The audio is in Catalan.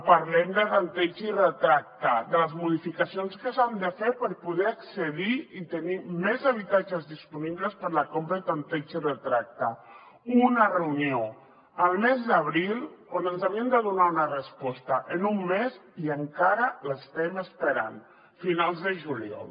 parlem de tanteig i retracte de les modificacions que s’han de fer per poder accedir i tenir més habitatges disponibles per a la compra i tanteig i retracte una reunió al mes d’abril on ens havien de donar una resposta en un mes i encara l’estem esperant finals de juliol